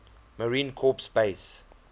marine corps base